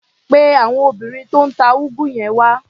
Pe àwọn obìnrin tó ń ta úgú yẹn wá.